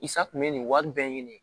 Sa kun bɛ nin wari bɛɛ ɲini